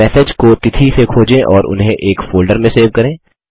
message को तिथि से खोजें और उन्हें एक फोल्डर में सेव करें